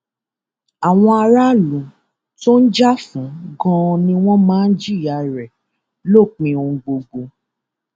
àwọn aráàlú tó ń jà fún ganan ni wọn máa jìyà rẹ lópin ohun gbogbo